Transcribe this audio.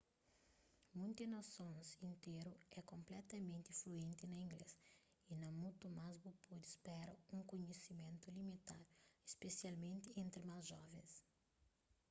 munti nasons interu é konpletamenti fluenti na inglês y na mutu más bu pode spera un kunhisimentu limitadu spesialmenti entri más jovens